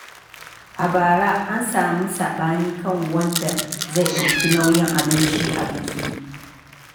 A bara, an sami saɓani kan wanda zai ɗauki nauyin abinci a biki.